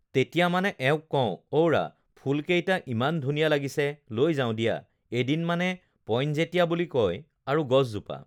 তেতিয়া মানে এওঁক কওঁ, অওৰা ফুলকেইটা ইমান ধুনীয়া লাগিছে লৈ যাওঁ দিয়া এদিন মানে পইনজেটিয়া বুলি কয় আৰু গছজোপা